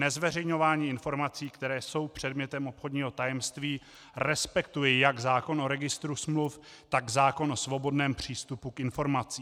Nezveřejňování informací, které jsou předmětem obchodního tajemství, respektuje jak zákon o registru smluv, tak zákon o svobodném přístupu k informacím.